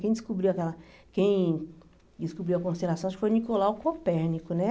Quem descobriu aquela, quem descobriu a constelação acho que foi Nicolau Copérnico, né?